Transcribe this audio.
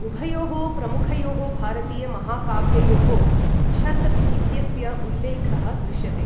उभयोः प्रमुखयोः भारतीय महाकाव्ययोः छथ् इत्यस्य उल्लेखः दृश्यते।